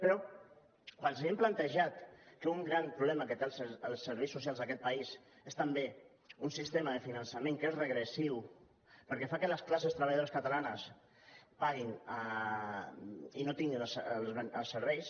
però quan els hi hem plantejat que un gran problema que tenen els serveis socials d’aquest país és també un sistema de finançament que és regressiu perquè fa que les classes treballadores catalanes paguin i no tinguin els serveis